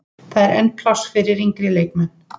Það er enn pláss fyrir yngri leikmenn.